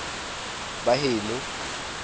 baheno